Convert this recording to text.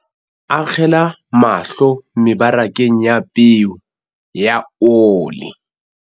Akgela mahlo mebarakeng ya peo ya ole